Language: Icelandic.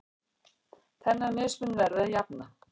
Þennan mismun verði að jafna.